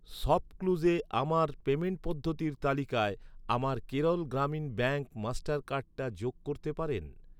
শপক্লুজে আমার পেমেন্ট পদ্ধতির তালিকায় আমার কেরল গ্রামীণ ব্যাঙ্ক মাস্টার কার্ডটা যোগ করতে পারেন?